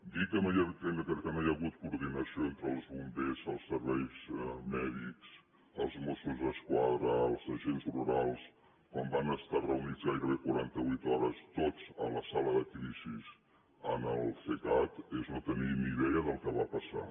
dir que no hi ha hagut coordinació entre els bombers els serveis mèdics els mossos d’esquadra els agents rurals quan van estar reunits gairebé quaranta vuit hores tots a la sala de crisi en el cecat és no tenir ni idea del que va passar